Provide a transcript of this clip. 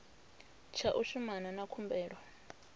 tsha u shumana na khumbelo